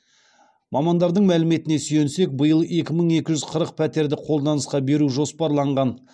мамандардың мәліметіне сүйенсек биыл екі мың екі жүз қырық пәтерді қолданысқа беру жоспарланған